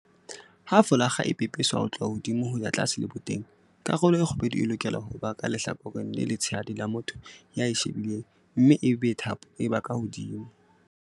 Ha folakga e pepeswa ho tloha hodimo ho ya tlase leboteng, karolo e kgubedu e lokela ho ba ka lehlakoreng le letshehadi la motho ya e shebileng mme ebe thapo e ba ka hodimo.